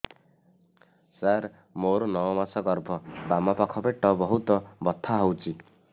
ସାର ମୋର ନଅ ମାସ ଗର୍ଭ ବାମପାଖ ପେଟ ବହୁତ ବଥା ହଉଚି